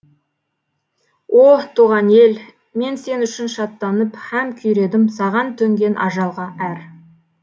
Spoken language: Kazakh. о туған ел мен сен үшін шаттанып һәм күйредім саған төнген ажалға әр